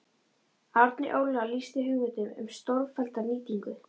Árni Óla lýsti hugmyndum um stórfellda nýtingu